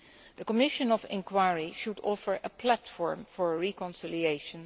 The Commission of Inquiry should offer a platform for reconciliation.